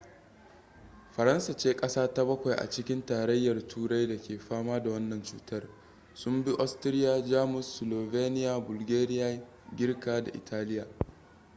faransa ce kasa ta bakwai a cikin tarayyar turai da ke fama da wannan cutar sun bi austria jamus slovenia bulgaria girka da italiya